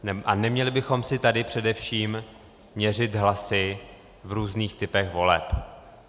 A neměli bychom si tady především měřit hlasy v různých typech voleb.